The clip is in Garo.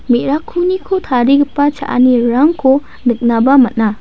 me·rakkuniko tarigipa cha·anirangko niknaba man·a.